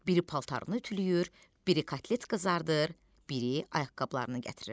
Biri paltarını ütülüyür, biri kotlet qızardır, biri ayaqqabılarını gətirirdi.